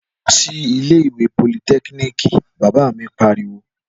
Lọ sí ilé ìwé politẹ́kíníìkì! Bàbá mi pariwo.